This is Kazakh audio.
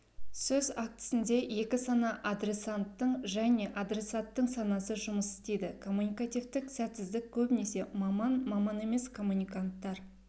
сөз актісінде екі сана адресанттың және адресаттың санасы жұмыс істейді коммуникативтік сәтсіздік көбінесе маман-маман емес коммуниканттар